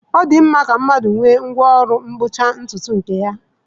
Ọ dị mma ka mmadụ nwee ngwá ọrụ mgbochi ntutu nke ya.